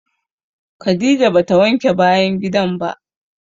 Khadijah ba ta wanke bayan gidan ba.